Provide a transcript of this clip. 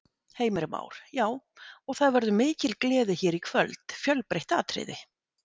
Heimir Már: Já, og það verður mikil gleði hér í kvöld, fjölbreytt atriði?